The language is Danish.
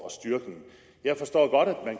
at styrke dem jeg forstår godt